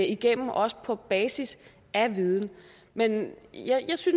igennem også på basis af viden men jeg